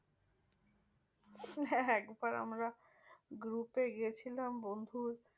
একবার আমরা group এ গেছিলাম বন্ধুর।